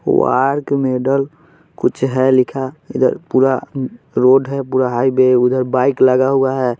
वार्क मैडल कुछ है लिखा इधर पूरा रोड है पूरा हाईवे है उधर बाइक लगा हुआ है।